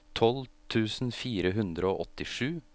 tolv tusen fire hundre og åttisju